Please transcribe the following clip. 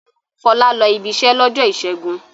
Fọlá lọ ibiṣẹ́ lọ́jọ́ ìṣẹ́gun.